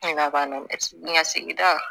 sigida